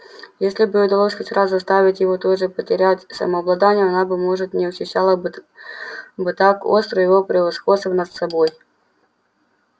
если бы ей удалось хоть раз заставить его тоже потерять самообладание она быть может не ощущала бы так остро его превосходства над собой